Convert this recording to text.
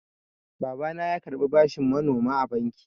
Babana ya karɓa bashin manoma a banki.